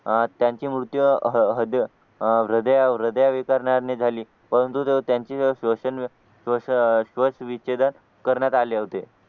अह त्यांचे मृत्यू हृदअह हृदया हृदयविकाराने झाली पण तू त्यांची जे सोशल मीडिया सोशल अह सुवाच्य विच्छेदन करण्यात आले होते